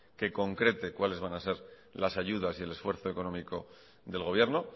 que concrete cuáles van a ser las ayudas y el esfuerzo económico del gobierno